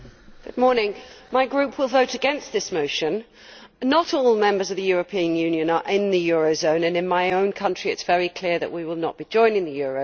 Mr President, my group will vote against this motion. Not all members of the European Union are in the euro area and in my own country it is very clear that we will not be joining the euro.